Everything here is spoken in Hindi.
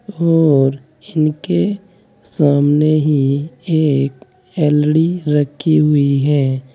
और इनके सामने ही एक एलडी रखी हुई है।